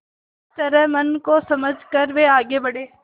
इस तरह मन को समझा कर वे आगे बढ़े